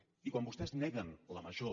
i quan vostès neguen la major